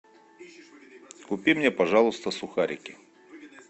купи мне пожалуйста сухарики